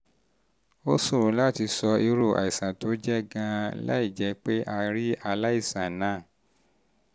ó ṣòro láti sọ irú àìsàn irú àìsàn tó jẹ́ gan-an láìjẹ́ pé a rí aláìsàn náà